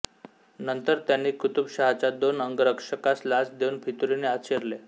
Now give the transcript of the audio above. नंतर त्यांनी कुतुबशहाच्या दोन अंगरक्षकास लाच देऊन फितुरीने आत शिरले